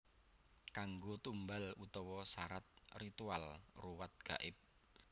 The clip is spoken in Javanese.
Kanggo tumbal utawa sarat ritual ruwat gaib